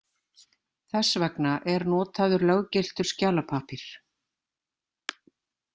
Þess vegna er notaður löggiltur skjalapappír.